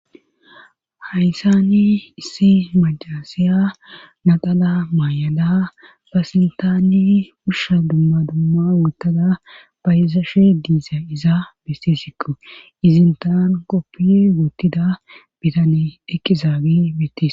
Hayssani issi majaasiya naqala maayada basintaani ushsha dumma dumma wottada fayzaashe diisa iza beste sikko izintaan qoppiye woottida bitane eqqizaagi bittis.